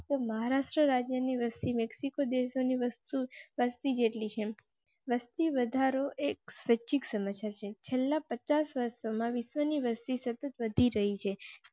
તો મહારાષ્ટ્ર રાજ્ય ની વસતી મેક્સિકો ડેસ્ક ની વસ્તુ વસતિ જેટલી વસ્તી વધારો એક સચિત સમસ્યા છેલ્લા પચાસ વર્ષમાં વિશ્વની વસ્તી સતત વધી રહી છે.